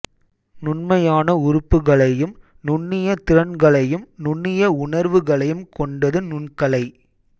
நுண்மையான உறுப்புகளையும் நுண்ணிய திறன்களையும் நுண்ணிய உணர்வுகளையும் கொண்டது நுண்கலை